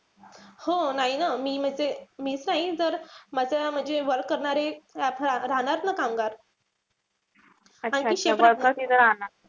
हो नाई न. मी म्हणजे मीच राहीन जर माझ्या म्हणजे work करणारे रा रा राहतात ना कामगार.